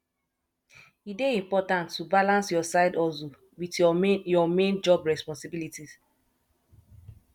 e dey important to balance your sidehustle with your main your main job responsibilities